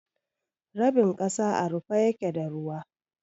Rabin kasa à rufe yake da ruwa.